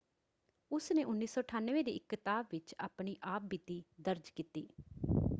ਉਸਨੇ 1998 ਦੀ ਇੱਕ ਕਿਤਾਬ ਵਿੱਚ ਆਪਣੀ ਆਪ ਬੀਤੀ ਦਰਜ ਕੀਤੀ।